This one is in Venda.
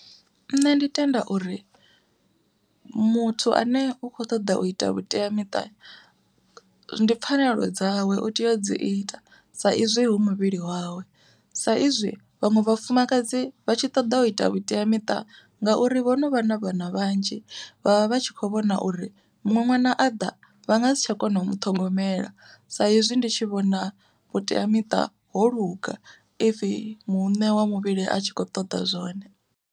Nṋe ndi tenda uri muthu ane u kho ṱoḓa u ita vhuteamiṱa, ndi pfhanelo dzawe u tea u dzi ita. Sa izwi hu muvhili wawe sa izwi vhaṅwe vhafumakadzi vha tshi ṱoḓa u ita vhuteamiṱa ngauri vho no vha na vhana vhanzhi, vha vha vha tshi kho vhona uri muṅwe ṅwana a ḓa vha nga si tsha kona u muṱhogomela. Sa ezwi ndi tshi vhona vhuteamiṱa ho luga if muṋe wa muvhili a tshi khou ṱoḓa zwone.